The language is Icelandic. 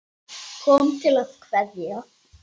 Kom til að kveðja.